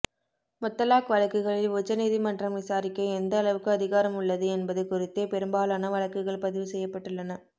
முத்தலாக் வழக்குகளில் உச்சநீதிமன்றம் விசாரிக்க எந்த அளவுக்கு அதிகாரம் உள்ளது என்பது குறித்தே பெரும்பாலான வழக்குகள் பதிவு செய்யப்பட்டுள்ளன